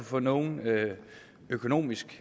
få nogen økonomiske